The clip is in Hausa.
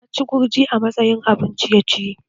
Ta ci gurji a matsayin abun ciye-ciye